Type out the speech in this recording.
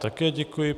Také děkuji.